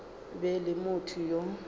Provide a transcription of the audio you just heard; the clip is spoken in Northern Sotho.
be e le motho yo